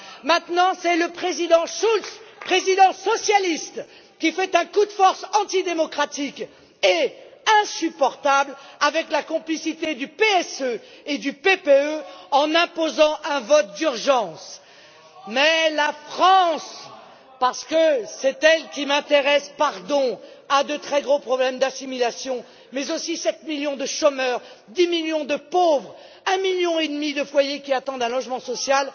C'est maintenant le Président Schulz, président socialiste, qui fait un coup de force antidémocratique et insupportable, avec la complicité du PSE et du PPE, en imposant un vote d'urgence. Mais la France parce que c'est elle qui m'intéresse, pardon a de très gros problèmes d'assimilation, mais aussi 7 millions de chômeurs, 10 millions de pauvres, 1,5 million de foyers qui attendent un logement social.